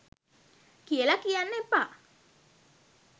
කියල කියන්න එපා.